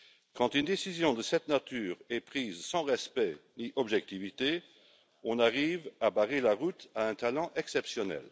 Quand une décision de cette nature est prise sans respect ni objectivité, on arrive à barrer la route à un talent exceptionnel.